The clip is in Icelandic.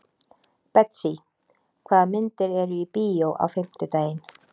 Betsý, hvaða myndir eru í bíó á fimmtudaginn?